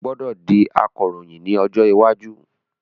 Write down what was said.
O gbọdọ di Akoroyin ni ojo iwaju.